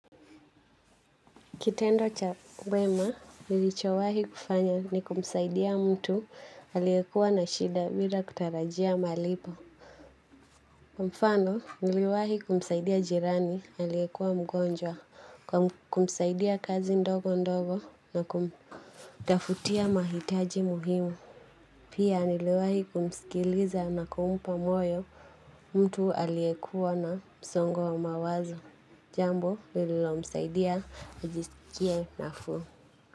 Kitendo cha wema, nilichowahi kufanya ni kumsaidia mtu aliyekua na shida bila kutarajia malipo. Mfano, niliwahi kumsaidia jirani aliyekua mgonjwa kwa kumsaidia kazi ndogo ndogo na kumtafutia mahitaji muhimu. Pia niliwahi kumskiliza na kumpa moyo mtu aliyekua na msongo wa mawazo. Jambo, nililomsaidia nijisikie nafuu.